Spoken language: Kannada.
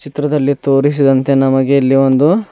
ಚಿತ್ರದಲ್ಲಿ ತೋರಿಸಿದಂತೆ ನಮಗೆ ಇಲ್ಲಿ ಒಂದು--